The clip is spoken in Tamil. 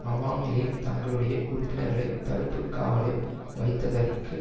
அவாமி லீக் தங்களுடைய உறுப்பினர்களை தடுப்பு காவலில் வைத்ததற்கு